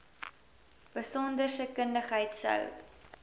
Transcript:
besonderse kundigheid sou